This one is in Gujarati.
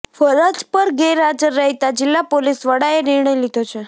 ફરજ પર ગેરહાજર રહેતા જિલ્લા પોલીસ વડાએ નિર્ણય લીધો છે